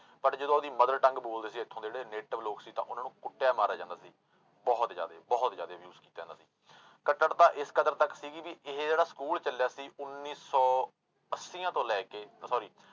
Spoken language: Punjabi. But ਜਦੋਂ ਉਹਦੀ mother-tongue ਬੋਲਦੇ ਸੀ ਇੱਥੋਂ ਦੇ ਜਿਹੜੇ native ਲੋਕ ਸੀ ਤਾਂ ਉਹਨਾਂ ਨੂੰ ਕੁੱਟਿਆ ਮਾਰਿਆ ਜਾਂਦਾ ਸੀ, ਬਹੁਤ ਜ਼ਿਆਦੇ ਬਹੁਤ ਜ਼ਿਆਦੇ abuse ਕੀਤਾ ਜਾਂਦਾ ਸੀ ਕੱਟੜਤਾ ਇਸ ਕਦਰ ਤੱਕ ਸੀਗੀ ਵੀ ਇਹ ਜਿਹੜਾ ਸਕੂੂਲ ਚੱਲਿਆ ਸੀ ਉਨੀ ਸੌ ਅੱਸੀਆਂ ਤੋਂ ਲੈ ਕੇ sorry